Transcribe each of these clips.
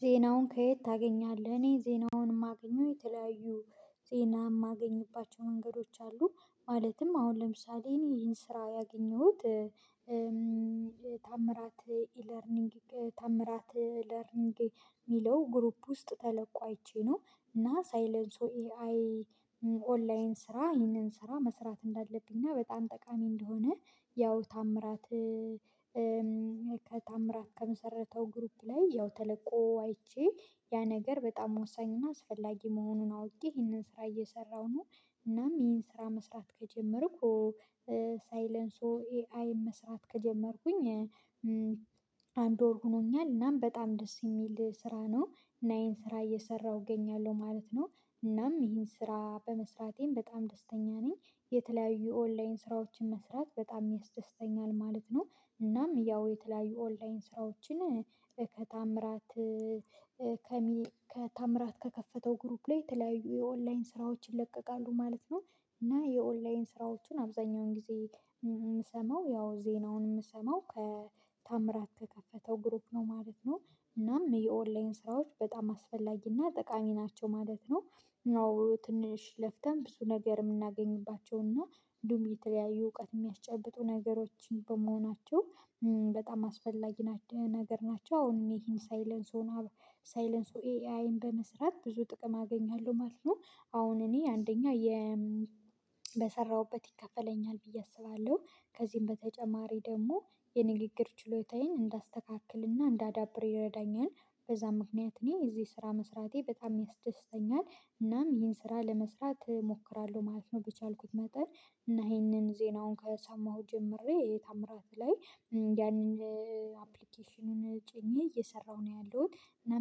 ዜናውን ከየት ታገኛለህ? እኔ ዜናውን የማገኘው የተለያዩ ዜና የማገኝባቸው መንገዶች አሉ ማለትም አሁን ለምሳሌ እኔ ይሄን ስራ ያገኘሁት። ተምራት ኢለርኒንግ ተምራት ለርኒንግ የሚለው ግሩፕ ውስጥ ተለቆ አይቼ ነው። እና ሳይለንሶ ኤአይ ኦንላይን ስራ ይህንን ስራ መስራት እንዳለብኝ እና በጣም ጠቃሚ እንደሆነ ያው ታምራት ከታምራት ከመሰረተው ግሩፕ ላይ ያው ተለቆ አይቼ ያ ነገር በጣም ወሳኝና አስፈላጊ መሆኑን አውቄ ይህንን ስራ እየሰራሁ ነው። እናም ይህን ስራ መስራት ከጀመርኩ ሳይለንሶ ኤአይ መስራት ከጀመርኩኝ አንድ ወር ሆኖኛል። እናም በጣም ደስ የሚል ስራ ነው እና ይሄን ስራ እየሰራሁ እገኛለሁ ማለት ነው። እናም ይህን ስራ በመስራቴም በጣም ደስተኛ ነኝ። የተለያዩ ኦንላይን ስራዎችን መስራት በጣም ያስደስተኛል ማለት ነው። እናም ያው የተለያዩ ኦንላይን ስራዎችን ከታምራት ከታምራት ከከፈተው ግሩፕ ላይ የተለያዩ የኦንላይን ስራዎችን ይለቀቃሉ ማለት ነው። እና የኦንላይን ስራዎችን አብዛኛውን ጊዜ የምሰማው ያው ዜናውን የምሰማው ከታምራት ከከፈተው ግሩፕ ነው ማለት ነው። እናም የኦንላይን ስራዎች በጣም አስፈላጊ እና ጠቃሚ ናቸው ማለት ነው። ያው ትንሽ ለፍተን ብዙ ነገር የምናገኝባቸው እና እንዲሁም የተለያዩ እውቀት የሚያስጨብጡ ነገሮችን በመሆናቸው በጣም አስፈላጊ ነገር ናቸው። አሁን ይሄን ሳይለንስ ሳይለንስ ኤአይን በመስራት ብዙ ጥቅም አገኛለሁ ማለት ነው። አሁን እኔ አንደኛ የ በሰራሁበት ይከፈለኛል ብዬ አስባለሁ። ከዚህም በተጨማሪ ደግሞ የንግግር ችሎታዬን እንዳስተካክልና እንዳዳብር ይረዳኛል። በዛ ምክንያት እኔ እዚህ ስራ መስራቴ በጣም ያስደስተኛል። እናም ይህን ስራ ለመስራት እሞክራለሁ ማለት ነው። በቻልኩት መጠን እና ይህንን ዜናውን ከሰማሁ ጀምሬ የታምራት ላይ ያንን አፕሊኬሽኑን ጭኜ እየሰራሁ ነው። ያለሁት እና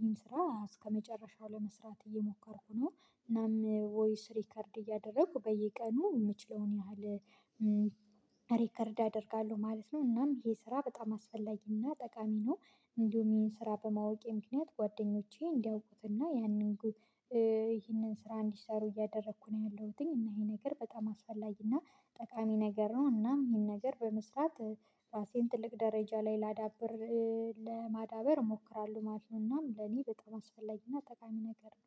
ምን ስራ እስከመጨረሻው ለመስራት እየሞከርኩ ነው። እናም ቮይስ ሪከርድ እያደረኩ በየቀኑ የምችለውን ያህል ሪከርድ አደርጋለሁ ማለት ነው። እናም ይሄ ስራ በጣም አስፈላጊና ጠቃሚ ነው። እንደውም ይሄን ስራ በማወቄ ምክንያት ጓደኞቼ እንዲያውቁትና ያንን ጉድ ይሄንን ስራ እንዲሰሩ እያደረኩ ነው ያለሁትኝ። እና ይሄ ነገር በጣም አስፈላጊ እና ጠቃሚ ነገር ነው። እናም ይሄን ነገር በመስራት ራሴን ትልቅ ደረጃ ላይ ላዳብር ለማዳበር እሞክራለሁ ማለት ነው። እናም ለኔ በጣም አስፈላጊና ጠቃሚ ነገር ነው